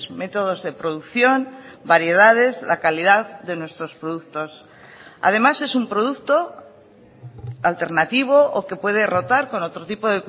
métodos de producción variedades la calidad de nuestros productos además es un producto alternativo o que puede rotar con otro tipo